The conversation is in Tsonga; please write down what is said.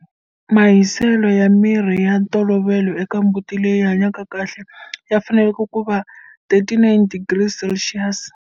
Mahiselo ya miri ya ntolovelo eka mbuti leyi hanyaka kahle ya fanele ku va 39 degrees Celsius.